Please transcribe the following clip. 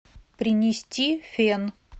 принести фен